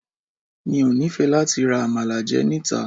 Mi ò nífẹ̀ẹ́ láti ra Àmàlà jẹ níta.